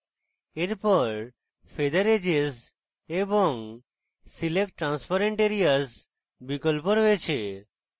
এরপর feather edges এবং select transparent areas বিকল্প রয়েছে